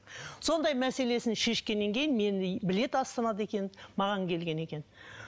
сондай мәселесін шешкеннен кейін мені біледі астанада екенімді маған келген екен